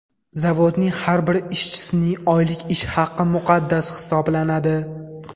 Zavodning har bir ishchisining oylik ish haqi muqaddas hisoblanadi.